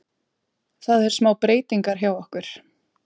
Það er smá breytingar hjá okkur.